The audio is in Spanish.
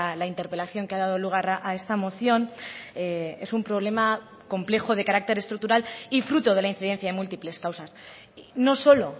la interpelación que ha dado lugar a esta moción es un problema complejo de carácter estructural y fruto de la incidencia de múltiples causas no solo